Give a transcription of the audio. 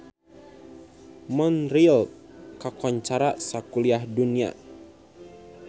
Montreal kakoncara sakuliah dunya